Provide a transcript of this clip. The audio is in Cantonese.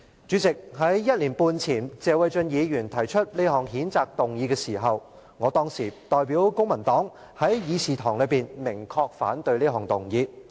主席，在1年半前謝偉俊議員提出這項譴責議案時，我代表公民黨在議事堂內明確表示反對。